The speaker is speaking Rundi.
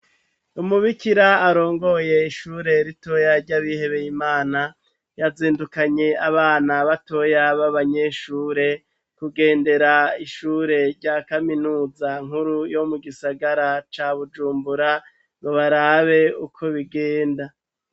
Umubikira arongoye ishure ritoya ry'abihebeye Imana yazindukanye abana batoya b'abanyeshure kugendera ishure rya kaminuza nkuru yo mu gisagara ca bujumbura ngo barabe uko bigenda.